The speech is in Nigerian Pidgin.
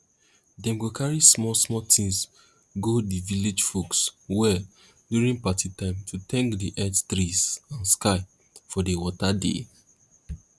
dem go carry small small things go the village folks well during party time to thank the earth trees and sky for the water they